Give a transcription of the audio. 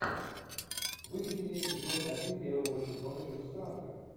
выведи мне эпизод один первого сезона чужестранка